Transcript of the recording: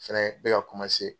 Fɛnɛ be ka